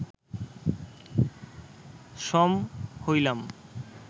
সম হইলাম